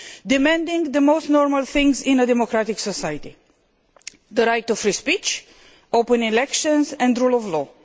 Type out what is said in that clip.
demanding the most normal things in a democratic society the right to free speech, open elections and rule of law.